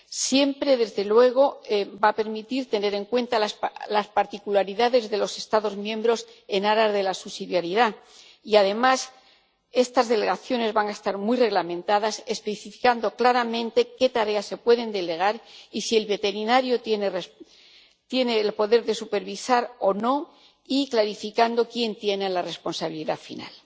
Siempre, desde luego, va a permitir tener en cuenta las particularidades de los Estados miembros en aras de la subsidiariedad y, además, estas delegaciones van a estar muy reglamentadas, especificando claramente qué tareas se pueden delegar y si el veterinario tiene el poder de supervisar o no, y clarificando quién tiene la responsabilidad final.